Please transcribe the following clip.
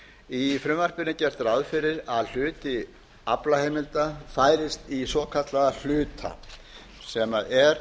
í frumvarpinu er gert ráð fyrir að hluti aflaheimilda færist í svokallað hlutfall sem er